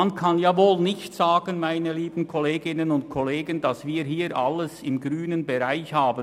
Man kann wohl nicht sagen, liebe Kolleginnen und Kollegen, dass hier alles im grünen Bereich liegt.